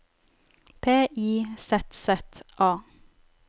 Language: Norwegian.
P I Z Z A